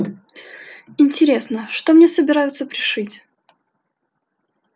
интересно что мне собираются пришить